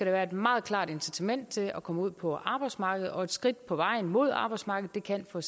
være et meget klart incitament til at komme ud på arbejdsmarkedet og et skridt på vejen mod arbejdsmarkedet kan for